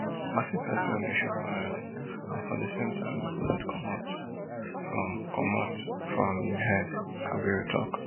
i see pesin wey dem shoot for head and for di same time di bullet comot from comot from im head kabir tok